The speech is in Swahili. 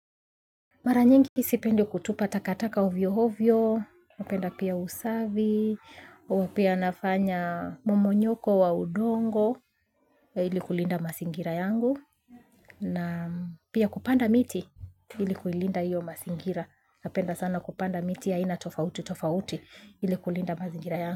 Mara nyingi mi sipendi kutupa takataka ovyo ovyo, napenda pia usafi, pia nafanya mmonyoko wa udongo ili kulinda mazingira yangu na pia kupanda miti ili kulinda iyo mazingira. Napenda sana kupanda miti aina tofauti tofauti ili kulinda mazingira yangu.